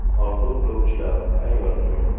Orzu qiluvchilar, tayyor turing!